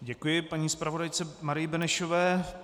Děkuji paní zpravodajce Marii Benešové.